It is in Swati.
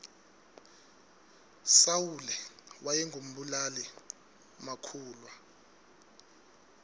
sawule wayengu mbulali makhulwa